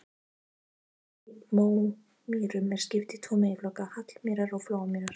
Íslenskum mómýrum er skipt í tvo meginflokka, hallamýrar og flóamýrar.